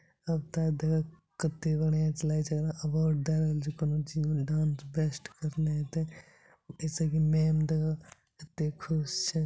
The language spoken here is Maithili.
कक्ते बढ़िया छैलागय छै अवॉर्ड दे रहल छैकोनो चीज मे डांस बेस्ट करलय हेते ऐ से की मैम कते खुश छै।